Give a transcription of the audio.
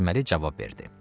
Qasıməli cavab verdi: